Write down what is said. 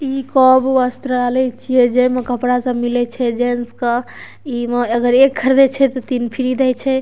इ कौब वस्त्रालय छिये जे म कपड़ा सब मिले छे जेन्ट्स क इ म अगर एक ख़रीदे छे त तीन फ्री दय छय।